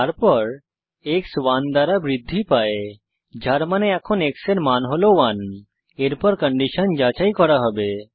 তারপর এক্স 1 দ্বারা বৃদ্ধি পায় যার মানে এখন x এর মান হল 1 এরপর কন্ডিশন যাচাই করা হবে